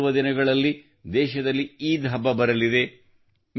ಮುಂಬರುವ ದಿನಗಳಲ್ಲಿ ದೇಶದಲ್ಲಿ ಈದ್ ಹಬ್ಬ ಬರಲಿದೆ